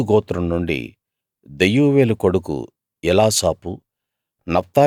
గాదు గోత్రం నుండి దెయూవేలు కొడుకు ఎలాసాపు